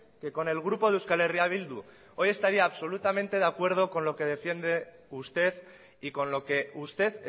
que con el grupo de euskal herria bildu hoy estaría absolutamente de acuerdo con lo que defiende usted y con lo que usted